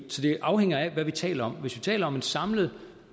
afhænger af hvad vi taler om hvis vi taler om en samlet